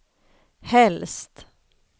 helst